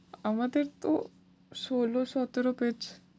আমাদের তো ষোলো সতেরো page